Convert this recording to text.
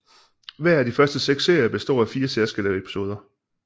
Hver af de første seks serier består af fire særskilte episoder